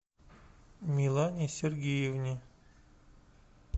милане сергеевне